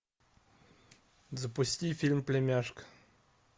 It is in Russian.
запусти фильм племяшка